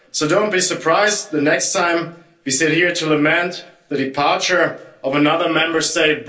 So don't be surprised the next time we sit here to lament the departure of another Member State.